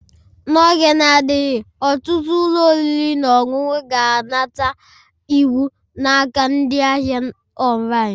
N'oge na-adịghị, ọtụtụ ụlọ oriri na ọṅụṅụ ga-anata iwu n'aka ndị ahịa online